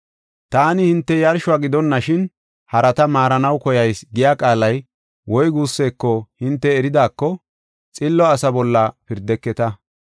‘Taani hinte yarshuwa gidonashin harata maarana mela koyayis’ giya qaalay woy guuseko hinte eridaako, xillo asa bolla pirdeketa.